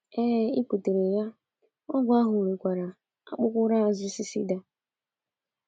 Ee, i kwutere ya, ọgwụ ahụ nwekwara aokpokoro azụ cicida.